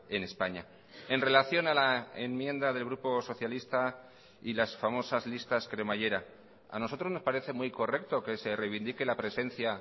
en españa en relación a la enmienda del grupo socialista y las famosas listas cremallera a nosotros nos parece muy correcto que se reivindique la presencia